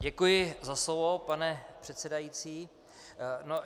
Děkuji za slovo, pane předsedající.